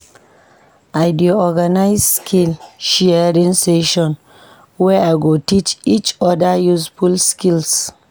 I dey organize skill-sharing sessions where we teach each other useful skills.